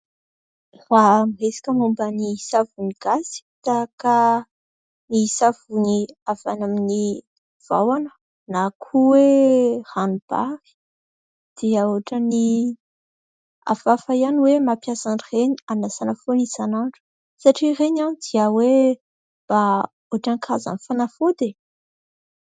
Raha miresaka momban'ny savony gasy tahaka ny savony avy any amin'ny vahona na koa hoe ranombary dia ohatrany hafahafa ihany hoe mampiasa an'ireny hanasana foana isan'andro ; satria ireny dia hoe mba ohatran'ny karazana fanafody.